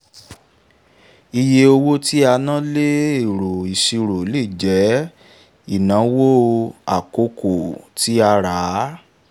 iye owó tí a ná lé ẹ̀rọ ìṣirò lè jẹ́ ìnáwó àkókò tí a rà á.